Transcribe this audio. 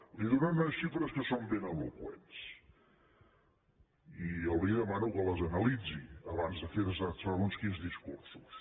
li donaré unes xifres que són ben eloqüents i jo li demano que les analitzi abans de fer segons quins discursos